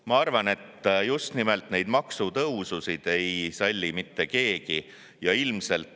Ma arvan, et neid maksutõususid ei salli mitte keegi.